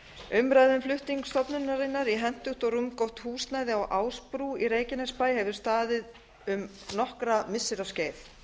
umræða um flutning stofnunarinnar í hentugt og rúmgott húsnæði á ásbrú á vallarheiði hefur staðið um nokkurra missira skeið